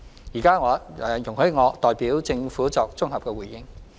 現在請容許我代表政府作綜合回應。